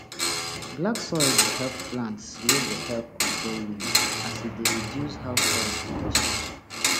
black soil dey help plants wey dey help control wind as e dey reduce how soil dey wash away